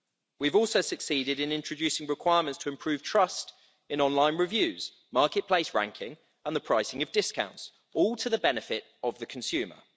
We've also succeeded in introducing requirements to improve trust in online reviews, marketplace ranking and the pricing of discounts all to the benefit of the consumer.